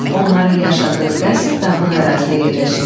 Onların yaşadığı qəsr dağlıq ərazidə yerləşirdi.